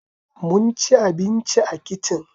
Mun ci abinci a kicin